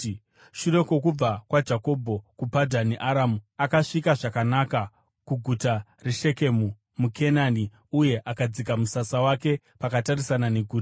Shure kwokubva kwaJakobho kuPadhani Aramu, akasvika zvakanaka kuguta reShekemu muKenani uye akadzika musasa wake pakatarisana neguta.